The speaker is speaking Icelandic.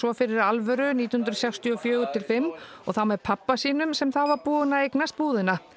fyrir alvöru nítján hundruð sextíu og fjögur til fimm og þá með pabba sínum sem þá var búinn að eignast búðina